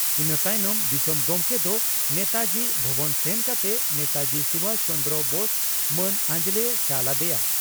ᱤᱱᱟᱹ ᱛᱟᱭᱱᱚᱢ ᱫᱤᱥᱚᱢ ᱜᱚᱢᱠᱮ ᱫᱚ ᱱᱮᱛᱟᱡᱤ ᱵᱷᱚᱵᱚᱱ ᱥᱮᱱ ᱠᱟᱛᱮ ᱱᱮᱛᱟᱡᱤ ᱥᱩᱵᱷᱟᱥ ᱪᱚᱱᱫᱽᱨᱚ ᱵᱳᱥ ᱢᱟᱹᱱ ᱟᱸᱡᱞᱮᱭ ᱪᱟᱞ ᱟᱫᱮᱭᱟ ᱾